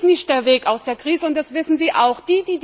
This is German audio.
Das ist nicht der Weg aus der Krise und das wissen Sie auch!